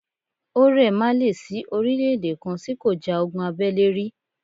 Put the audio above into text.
Ó ́rẹ̀ má lè sí orílè-èdè kan tí kò ja ogun abẹ́lé rí.